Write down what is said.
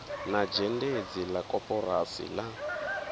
na zhendedzi la koporasi la